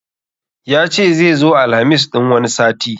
Yace zai zo Alhamis ɗin wani sati